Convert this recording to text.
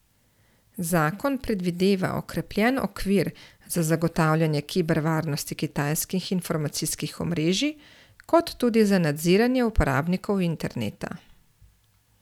Zakon predvideva okrepljen okvir za zagotavljanje kiber varnosti kitajskih informacijskih omrežij kot tudi za nadziranje uporabnikov interneta.